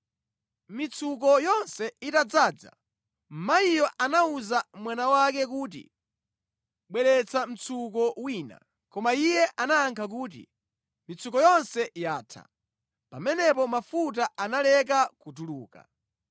Mitsuko yonse itadzaza, mayiyo anawuza mwana wake kuti, “Bweretsa mtsuko wina.” Koma iye anayankha kuti, “Mitsuko yonse yatha.” Pamenepo mafuta analeka kutuluka.